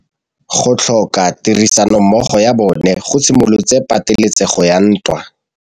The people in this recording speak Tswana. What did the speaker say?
Go tlhoka tirsanommogo ga bone go simolotse patêlêsêgô ya ntwa.